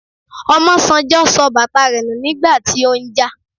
Omosanjo sọ bàtà rẹ nù nígbà tí ó ń jà